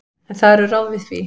En það eru ráð við því.